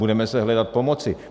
Budeme se hledat, pomoci.